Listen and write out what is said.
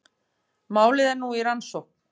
Málið er nú í rannsókn